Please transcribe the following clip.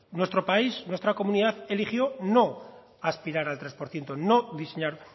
nuestro país nuestra comunidad eligió no aspirar al tres por ciento no diseñar